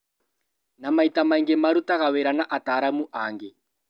Na maita maingĩ marutaga wĩra na ataaramu angĩ